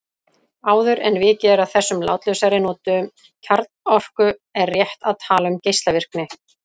Áður en vikið er að þessum látlausari notum kjarnorku er rétt að tala um geislavirkni.